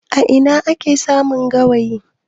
A ina ake samun gawayi?